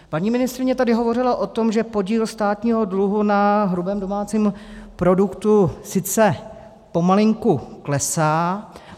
Paní ministryně tady hovořila o tom, že podíl státního dluhu na hrubém domácím produktu sice pomalinku klesá.